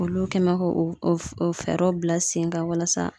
Olu kɛ mɛ k'o o o fɛɛrɛw bila sen kan walasa